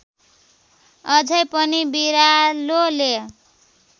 अझै पनि बिरालोले